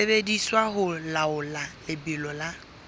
sebediswa ho laola lebelo la